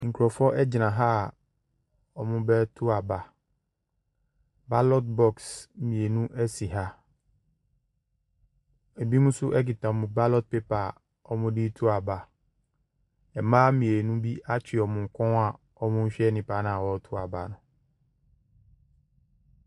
Nkurɔfoɔ gyina ha a wɔrebai aba. Ballot box mmienu si. Ɛbinom nso kita wɔn ballot papper a wɔde reto aba. Mmaa mmienu bi atwe wɔn kɔn a wɔrehɛ nipa no a ɔreto aba no.